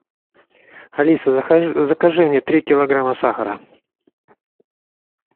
алиса закажи мне три килограмма сахара